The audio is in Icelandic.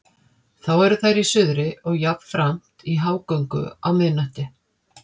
Þá eru þær í suðri og jafnframt í hágöngu á miðnætti.